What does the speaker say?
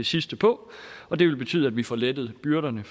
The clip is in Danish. sidste på og det vil betyde at vi får lettet byrderne